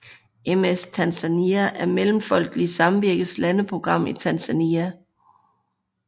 MS Tanzania er Mellemfolkeligt Samvirkes landeprogram i Tanzania